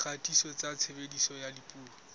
dikgatiso tsa tshebediso ya dipuo